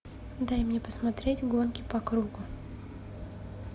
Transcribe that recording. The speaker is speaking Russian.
дай мне посмотреть гонки по кругу